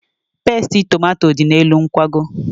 Tomato pestị dị n'elu nkwago.